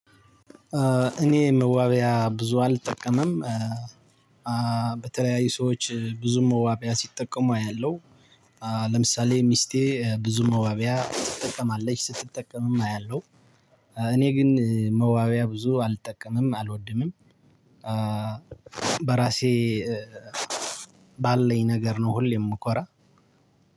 እኔ መዋቢያ ብዙ አልጠቀምም። አ በተለያዩ ሰዎች ብዙም መዋቢያ ሲጠቀሙ አያለሁ። አ ለምሳሌ ሚስቴ ብዙ መዋቢያ ትጠቀማለች ስትጠቀምም አያለሁ። እኔ ግን መዋቢያ ብዙ አልጠቀምም አልወድምም። አ በራሴ ባለኝ ነገር ነው ሁሌም እምኮራ